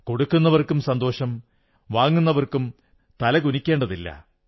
കൊടുക്കുന്നവർക്കും സന്തോഷം വാങ്ങുന്നവർക്കും തല കുനിക്കേണ്ടതില്ല